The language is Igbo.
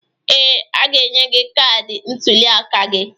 Ee, a ga-enye gị kaadị ntụliaka gi.